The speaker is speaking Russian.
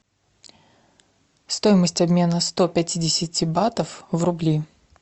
стоимость обмена сто пятидесяти батов в рубли